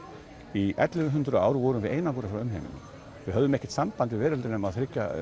í ellefu hundruð ár vorum við einangruð frá umheiminum við höfðum ekkert samband við veröldina nema